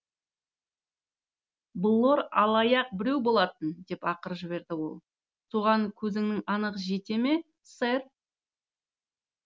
блор алаяқ біреу болатын деп ақырып жіберді ол соған көзіңіз анық жете ме сэр